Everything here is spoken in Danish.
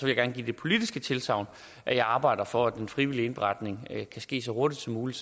jeg gerne give det politiske tilsagn at jeg arbejder for at den frivillige indberetning kan ske så hurtigt som muligt